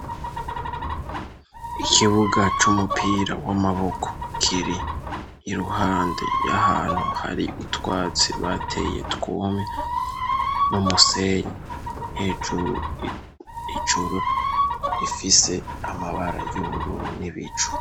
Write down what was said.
Ikibuga c'umupira w'amaboko kiri iruhande y'ahantu hari utwatsi bateye twumye, n'umusenyi. Hejuru rifise amabara y'ubururu n'ibicu.